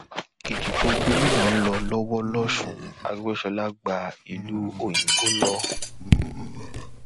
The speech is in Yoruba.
ìdìbò gómìnà ń lọ lọwọ losùn aregbèsọlá gba ìlú òyìnbó lọ